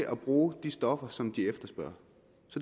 at bruge de stoffer som de efterspørger